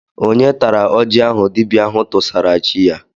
Onye tara oji ahụ dibịa ahụ tụsara chi ya?